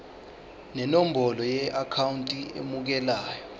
nenombolo yeakhawunti emukelayo